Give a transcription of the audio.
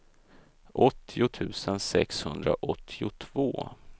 åttio tusen sexhundraåttiotvå